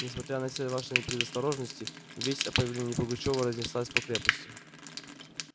несмотря на все наши предосторожности весть о появлении пугачёва разнеслась по крепости